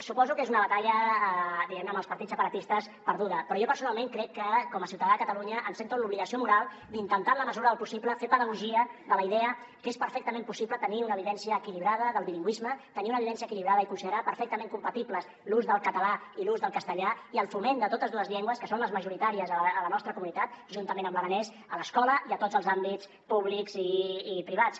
suposo que és una batalla amb els partits separatistes perduda però jo personalment crec que com a ciutadà de catalunya em sento amb l’obligació moral d’intentar en la mesura del possible fer pedagogia de la idea que és perfectament possible tenir una vivència equilibrada del bilingüisme tenir una vivència equilibrada i considerar perfectament compatibles l’ús del català i l’ús del castellà i el foment de totes dues llengües que són les majoritàries a la nostra comunitat juntament amb l’aranès a l’escola i a tots els àmbits públics i privats